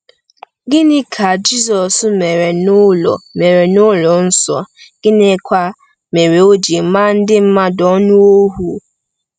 Gịnị ka Jizọs mere n’ụlọ mere n’ụlọ nsọ, gịnịkwa mere o ji maa ndị mmadụ anụ ọhụụ?